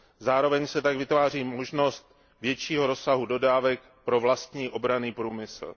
Zároveň se tak vytváří možnost většího rozsahu dodávek pro vlastní obranný průmysl.